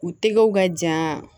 U tɛgɛw ka ja